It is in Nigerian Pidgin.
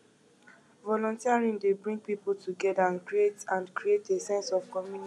volunteering dey bring people together and create and create a sense of community